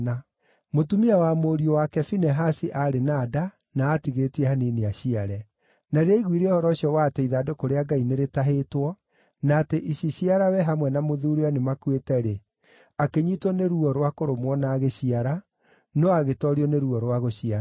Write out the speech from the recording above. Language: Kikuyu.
Mũtumia wa mũriũ wake Finehasi aarĩ na nda na aatigĩtie hanini aciare. Na rĩrĩa aaiguire ũhoro ũcio wa atĩ ithandũkũ rĩa Ngai nĩrĩtahĩtwo, na atĩ iciciarawe hamwe na mũthuuriwe nĩmakuĩte-rĩ, akĩnyiitwo nĩ ruo rwa kũrũmwo na agĩciara, no agĩtoorio nĩ ruo rwa gũciara.